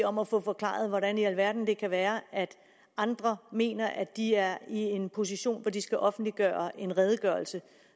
om at få forklaret hvordan i alverden det kan være at andre mener at de er i en position hvor de skal offentliggøre en redegørelse